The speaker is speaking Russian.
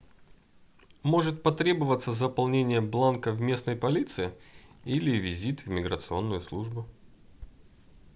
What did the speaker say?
может потребоваться заполнение бланка в местной полиции или визит в миграционную службу